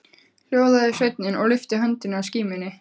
Hljóðaði sveinninn og lyfti höndinni að skímunni.